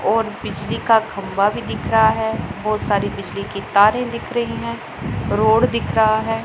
और बिजली का खंबा भी दिख रहा है बहुत सारी बिजली के तारें दिख रही हैं रोड दिख रहा है।